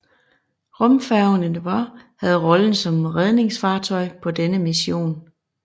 Rumfærgen Endeavour havde rollen som redningsfartøj på denne mission